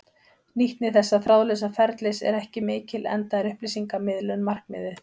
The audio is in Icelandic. Nýtni þessa þráðlausa ferlis er ekki mikil enda er upplýsingamiðlun markmiðið.